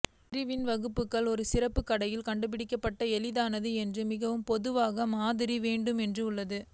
பிரிவில் வகுப்புகள் ஒரு சிறப்பு கடையில் கண்டுபிடிக்க எளிதானது என்று மிகவும் பொதுவான மாதிரி வேண்டும் உள்ளது